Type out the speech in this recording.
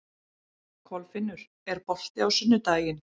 Kolfinnur, er bolti á sunnudaginn?